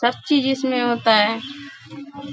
सब चीज इसमें होता है।